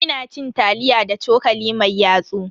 Ina cin taliya da cokali mai yatsu.